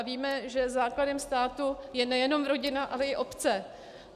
A víme, že základem státu je nejenom rodina, ale i obce.